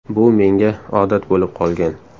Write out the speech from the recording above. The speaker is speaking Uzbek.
Bu menga odat bo‘lib qolgan.